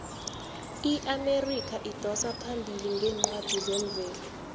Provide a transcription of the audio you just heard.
iamerika idosa phambili ngeencwadi zemvelo